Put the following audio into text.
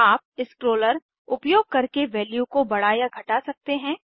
आप स्क्रोलर्स उपयोग करके वैल्यू को बड़ा या घटा सकते हैं